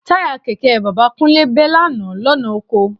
Táyà kẹ̀kẹ́ bàbá Kúnlé bẹ́ lánàá lọ́nà oko